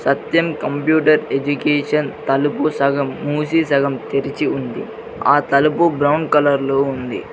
సత్యం computer education తలుపు సగం మూసి సగం తెరిచి ఉంది ఆ తలుపు బ్రౌన్ కలర్ లో ఉంది.